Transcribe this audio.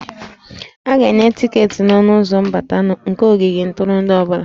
A ga-enye tiketi n'ọnụ ụzọ mbata nke ogige ntụrụndụ ọ bụla